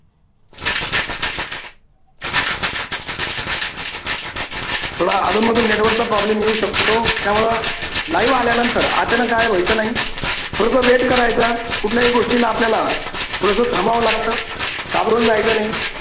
थोडा अधून मधून network चा problem येऊ शकतो त्यामुळे live आल्यानंतर अचानक गायब व्हायचं नाही. थोडस wait करायचा कुठल्याही गोष्टीला आपल्याला थोडंस थांबावं लागतं घाबरून जायचं नाही.